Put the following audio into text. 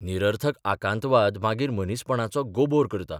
निरर्थक आकांतवाद मागीर मनीसपणाचो गोबोर करता.